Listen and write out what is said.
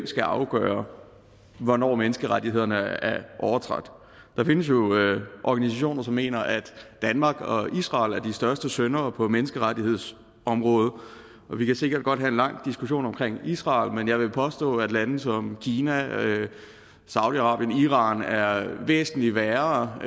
skal afgøre hvornår menneskerettighederne er overtrådt der findes jo organisationer som mener at danmark og israel er de største syndere på menneskerettighedsområdet og vi kan sikkert godt have en lang diskussion om israel men jeg vil påstå at lande som kina saudi arabien iran er væsentlig værre i